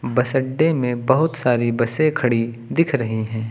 बस अड्डे में बहुत सारी बसें खड़ी दिख रही हैं।